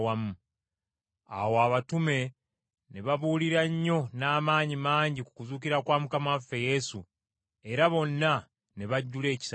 Awo abatume ne babuulira nnyo n’amaanyi mangi ku kuzuukira kwa Mukama waffe Yesu, era bonna ne bajjula ekisa kingi.